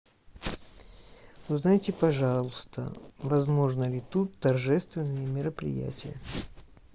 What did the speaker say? узнайте пожалуйста возможны ли тут торжественные мероприятия